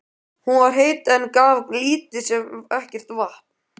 Hún var heit, en gaf lítið sem ekkert vatn.